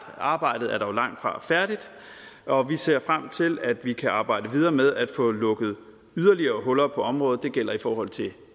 arbejdet er dog langtfra færdigt og vi ser frem til at vi kan arbejde videre med at få lukket yderligere huller på området det gælder i forhold til